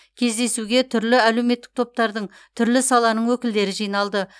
кездесуге түрлі әлеуметтік топтардың түрлі саланың өкілдері жиналды